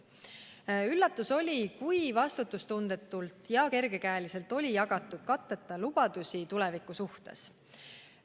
Oli üllatav, kui vastutustundetult ja kergekäeliselt oli jagatud katteta lubadusi tuleviku suhtes.